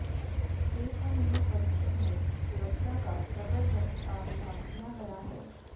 AMU परिसर में सुरक्षा का ज़बरदस्त तामझाम किया गया है